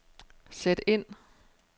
sæt ind